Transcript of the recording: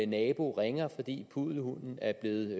nabo ringer fordi puddelhunden er blevet